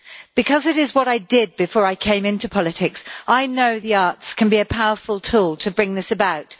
Because it is what I did before I came into politics, I know that the Arts can be a powerful tool to bring this about.